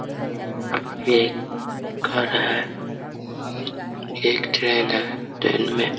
ये एक घर है। ये एक ट्रैन है। ट्रैन में --